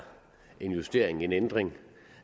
en justering en ændring